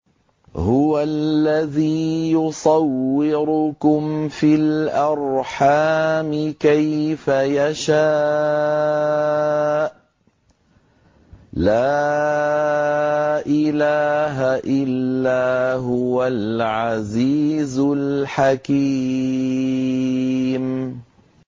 هُوَ الَّذِي يُصَوِّرُكُمْ فِي الْأَرْحَامِ كَيْفَ يَشَاءُ ۚ لَا إِلَٰهَ إِلَّا هُوَ الْعَزِيزُ الْحَكِيمُ